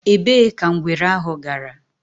Èbée ka ngwere ahụ gara?